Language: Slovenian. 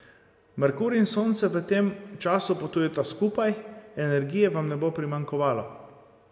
Merkur in Sonce v tem času potujeta skupaj, energije vam ne bo primanjkovalo.